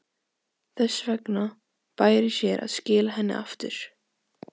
Þess vegna bæri sér að skila henni aftur.